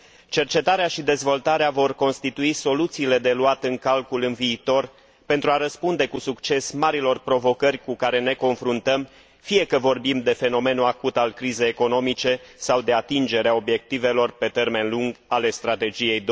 Cercetarea și dezvoltarea vor constitui soluțiile de luat în calcul în viitor pentru a răspunde cu succes marilor provocări cu care ne confruntăm, fie că vorbim de fenomenul acut al crizei economice sau de atingerea obiectivelor pe termen lung ale Strategiei